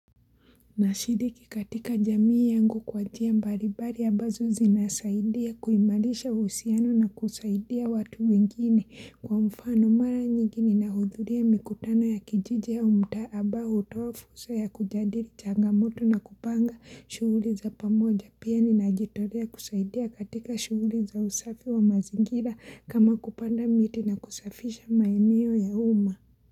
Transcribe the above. Nashiriki katika jamii yangu kwa jia mbalimbari ambazo zinasaidia kuimalisha uhusiano na kusaidia watu wengine kwa mfano mara nyingi nina hudhulia mikutano ya kijiji au mtaa ambao hutoa fursa ya kujadili changamoto na kupanga shughuli za pamoja pia ninajitolea kusaidia katika shughuli za usafi wa mazingira kama kupanda miti na kusafisha maeneo ya uma.